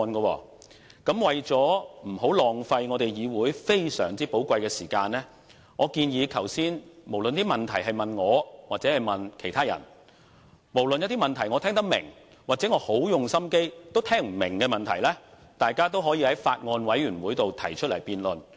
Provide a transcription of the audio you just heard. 為了不浪費我們議會非常寶貴的時間，我建議無論剛才議員提出的問題是問我或其他人，無論那些問題是我聽得懂或不管如何用心也聽不懂，大家也可在法案委員會內提出辯論。